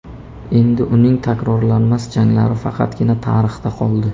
Endi uning takrorlanmas janglari faqatgina tarixda qoldi.